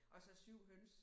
Og så 7 høns